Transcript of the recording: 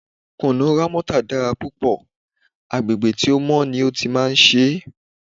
Kùnú Rámọ́tà dára púpọ̀, agbègbè tí ó mọ́ ni ó ti máa ń ṣe é.